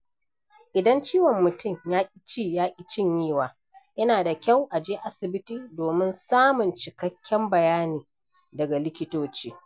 Idan ciwon mutum ya ki ci ya ki cinyewa, yana da kyau a je asibiti domin samun cikakken bayani daga likitoci.